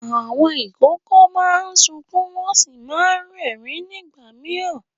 Àwọn ìkókó máa ń sunkún wọ́n sì máa ń rẹ́rìn-ín nígbà mìíràn.